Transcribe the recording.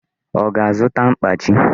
Ọ ga-azụta mkpachi?